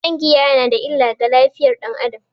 Shan giya yana da illa ga lafiyar dan Adam.